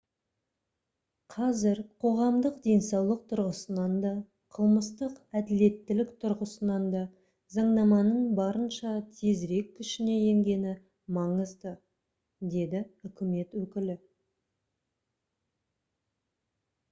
қазір қоғамдық денсаулық тұрғысынан да қылмыстық әділеттілік тұрғысынан да заңнаманың барынша тезірек күшіне енгені маңызды - деді үкімет өкілі